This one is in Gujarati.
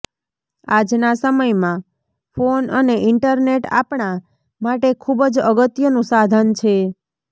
આજના સમયમાં ફોન અને ઈન્ટરનેટ આપણા માટે ખૂબ જ અગત્યનું સાધન છે